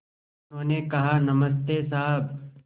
उन्होंने कहा नमस्ते साहब